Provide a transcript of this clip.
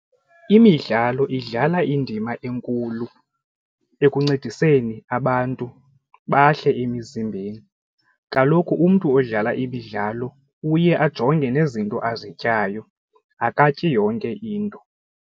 Imidlalo idlala indima enkulu ekuncediseni abantu bahle emizimbeni, kaloku umntu odlala imidlalo uye ajonge nezinto azityayo akatyi yonke into.